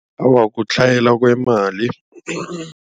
Awa kutlhayela kwemali.